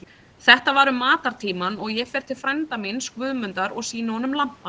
Þetta var um matartímann og ég fer til frænda míns, Guðmundar, og sýni honum lampann.